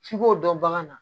F'i k'o dɔn bagan na